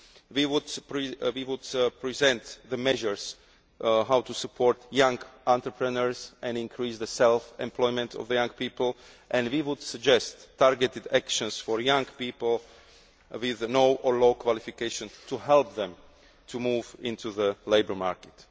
We will present measures on how to support young entrepreneurs and increase the self employment of young people, and we would suggest targeted actions for young people with no or low qualification to help them to move into the labour market.